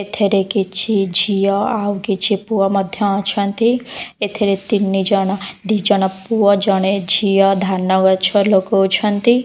ଏଠାରେ କିଛି ଝିଅ ଆଉ କିଛି ପୁଅ ମଧ୍ୟ ଅଛନ୍ତି ଏଥିରେ ତିନି ଜଣ ଦି ଜଣ ପୁଅ ଜଣେ ଝିଅ ଧାନ ଗଛ ଲଗଉଛନ୍ତି।